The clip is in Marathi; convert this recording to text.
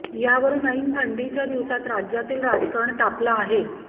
यावरून ऐन थंडीच्या दिवसात राज्यातील राजकारण तापलं आहे